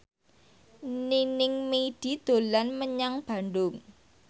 Nining Meida dolan menyang Bandung